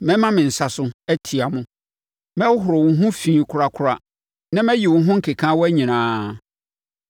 Mɛma me nsa so, atia mo; mɛhohoro wo ho fi korakora na mayi mo ho nkekaawa nyinaa.